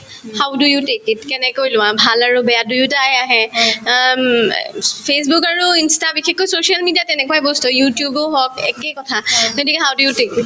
how do you take it কেনেকৈ লোৱা ভাল আৰু বেয়া দুয়োটায়ে আহে অ ঊম অ ফেচবূক আৰু ইন্স্তা বিশেষকৈ social media ত তেনেকুৱায়ে বস্তু you tube ও হওক একেই কথা গতিকে how do you take it?